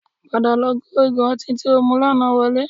Padà lọ kó igò ọtí tí o mu lánàá wọlé